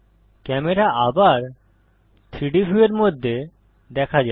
camera আবার 3ডি ভিউয়ের মধ্যে দেখা যায়